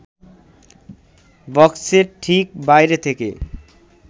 বক্সের ঠিক বাইরে থেকে